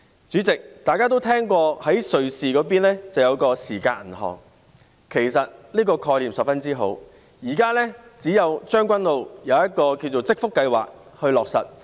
主席，大家都聽聞過瑞士有一間時間銀行，其實這個概念十分好，現在只有在將軍澳有一項"織福——長者互助發展計劃"正在落實。